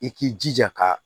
I k'i jija ka